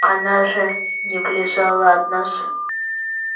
она же не вылезала от нас